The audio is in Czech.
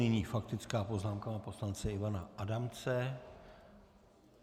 Nyní faktická poznámka pana poslance Ivana Adamce.